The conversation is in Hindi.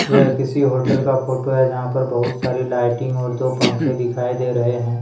यह किसी होटल का फोटो हैजहां पर बहुत सारी लाइटिंग और दो पंखे दिखाई दे रहे हैं।